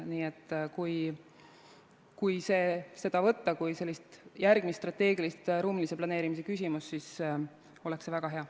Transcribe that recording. Nii et kui võtta seda kui järgmist strateegilist ruumilise planeerimise küsimust, siis oleks see väga hea.